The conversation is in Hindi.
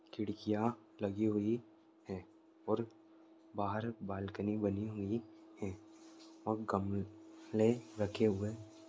खिड़कियां लगी हुई है और बाहर बालकनी बनी हुई है और गमले रखे हुए --